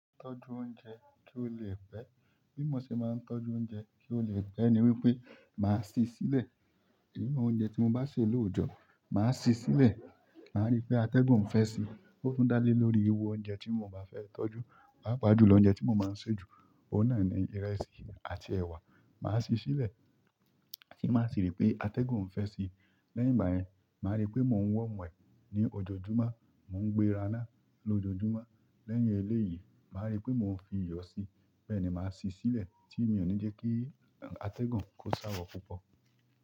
Tọ́jú oúnjẹ kí ó lè pẹ́. Bímọ ṣe máa ń tọ́jú oúnjẹ kí ó lè pẹ́ ni wípé, màá sí i sílẹ̀. Irú oúnjẹ tí mo bá sè lóòjọ́ màá sì í sílẹ̀. Màá rí pé atẹ́gùn fẹ́ sí i, ó tún dá lé lórí irú oúnjẹ tí mo máa fẹ́ tọ́jú. Pàápàá jù lọ, oúnjẹ tí mo máa ń sè jù, òun náà ni ìrẹsì àti ẹ̀wà. Màá sí i sílẹ̀, tí n bá sì rí pé atẹ́gùn ń fẹ́ sí i. Lẹ́yìn ìgbà yẹn, màá rí pé mò ń warm ẹ̀ ní ojoojúmọ́, mò ń gbe raná lójoojúmọ́. Lẹ́yìn eléyìí, màá rí pé mò ń fi iyọ̀ sí i. Bẹ́ẹ̀ ni màá sí i sílẹ̀ tí mi ò ní jẹ́ kí atẹ́gùn kó sáwọ́ púpọ̀.